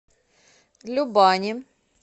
любани